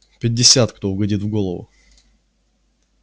пятьдесят кто угодит в голову